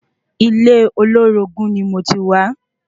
Ilé olorogun ni moti wa